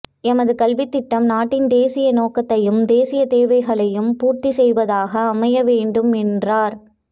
எமது கல்வித்திட்டம் நாட்டின் தேசிய நோக்கத்தையும் தேசிய தேவைகளையும் பூர்த்தி செய்வதாக அமைய வேண்டும் என்றார்